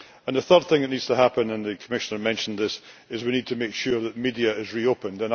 A third thing that needs to happen and the Commissioner mentioned this is we need to make sure that the media is reopened.